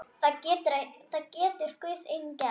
Það getur Guð einn gert.